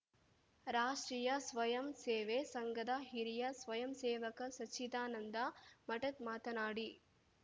ರಾಷ್ಟ್ರೀಯಸ್ವಂಯಂಸೇವೆ ಸಂಘದ ಹಿರಿಯ ಸ್ವಯಂಸೇವಕ ಸಚ್ಚಿದಾನಂದ ಮಠದ್‌ ಮಾತನಾಡಿ